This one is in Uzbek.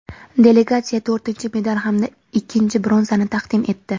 delegatsiyaga to‘rtinchi medal hamda ikkinchi bronzani taqdim etdi;.